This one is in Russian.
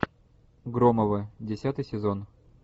громовы десятый сезон